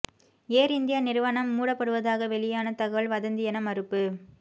ஏர் India நிறுவனம் மூடப்படுவதாக வெளியான தகவல் வதந்தி என மறுப்பு